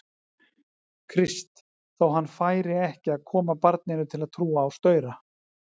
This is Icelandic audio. Krist, þótt hann færi ekki að koma barninu til að trúa á staura.